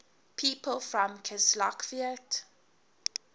people from kislovodsk